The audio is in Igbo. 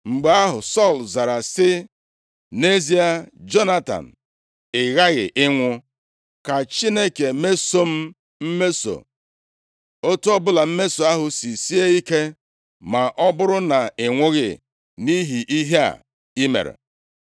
Mgbe ahụ, Sọl zara sị, “Nʼezie Jonatan, ị ghaghị ịnwụ. Ka Chineke meso m mmeso, otu ọbụla mmeso ahụ si sie ike, ma ọ bụrụ na ị nwụghị nʼihi ihe a i mere.”